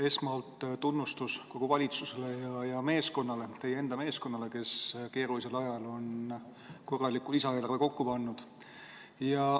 Esmalt tunnustus kogu valitsusele ja teie meeskonnale, kes keerulisel ajal on korraliku lisaeelarve kokku pannud.